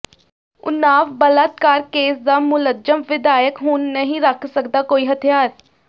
ਉਨਾਵ ਬਲਾਤਕਾਰ ਕੇਸ ਦਾ ਮੁਲਜ਼ਮ ਵਿਧਾਇਕ ਹੁਣ ਨਹੀਂ ਰੱਖ ਸਕਦਾ ਕੋਈ ਹੱਥਿਆਰ